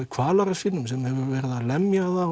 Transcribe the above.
kvalara sínum sem hefur verið að lemja það